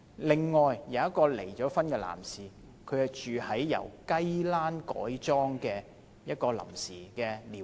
另外，一位離婚男士住在一個由雞欄改裝成的臨時寮屋。